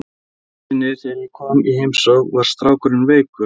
Einu sinni þegar ég kom í heimsókn var strákurinn veikur.